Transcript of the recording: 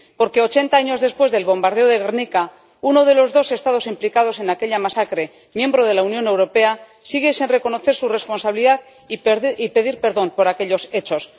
Porque, ochenta años después del bombardeo de Gernika, uno de los dos Estados implicados en aquella masacre, miembro de la Unión Europea, sigue sin reconocer su responsabilidad y pedir perdón por aquellos hechos.